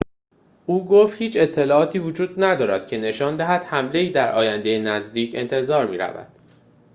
او گفت هیچ اطلاعاتی وجود ندارد که نشان دهد حمله‌ای در آینده نزدیک انتظار می‌رود